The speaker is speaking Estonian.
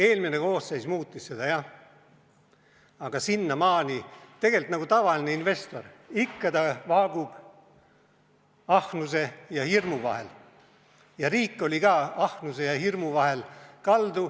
Eelmine koosseis muutis seda jah, aga sinnamaani, tegelikult nagu tavaline investor, kes ikka vaagub ahnuse ja hirmu vahel, oli ka riik ahnuse ja hirmu vahel kaldu.